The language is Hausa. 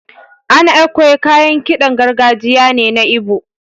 An Ekwe kayan kiɗan gargajiya ne na Igbo.